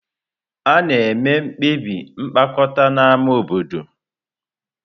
A na-eme mkpebi mkpokọta na ámá obodo.